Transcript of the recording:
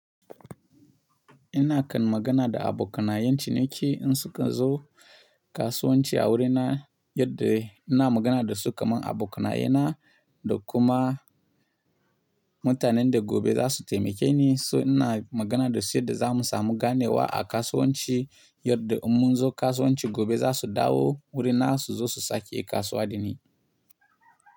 Ina kan magana da abokanayen ciniki in suka zo kasuwanci a wurina, yadda ina magana da su kamar abokanai na da kuma mutanen da gobe za su taimake ni. So ina magana da su yadda za mu samu ganewa a kasuwanci, yadda mun zo kasuwanci gobe za su dawo wurina su zo su sake kasuwa da ni.